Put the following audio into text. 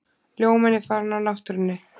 Ljóminn er farinn af náttúrunni.